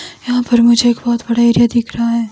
यहां पर मुझे एक बहोत बड़ा एरिया दिख रहा है।